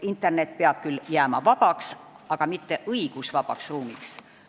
Internet peab küll jääma vabaks, aga mitte õigusvabaks ruumiks.